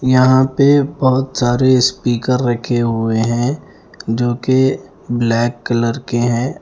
यहाँ पे बहुत सारे स्पीकर रखे हुए हैं जो के ब्लैक कलर के हैं।